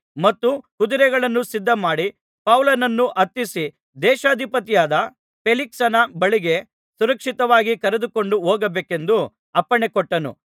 ಮತ್ತು ಕುದುರೆಗಳನ್ನು ಸಿದ್ಧಮಾಡಿ ಪೌಲನನ್ನು ಹತ್ತಿಸಿ ದೇಶಾಧಿಪತಿಯಾದ ಫೇಲಿಕ್ಸನ ಬಳಿಗೆ ಸುರಕ್ಷಿತವಾಗಿ ಕರೆದುಕೊಂಡು ಹೋಗಬೇಕೆಂದು ಅಪ್ಪಣೆ ಕೊಟ್ಟನು